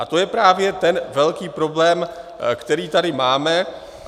A to je právě ten velký problém, který tady máme.